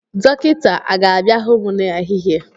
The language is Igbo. Dọkịnta a ga-abịa hụ mu na ehihie?